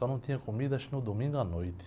Só não tinha comida acho que no domingo à noite.